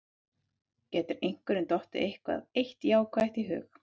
Getur einhverjum dottið eitthvað eitt jákvætt í hug?